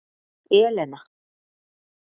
Elena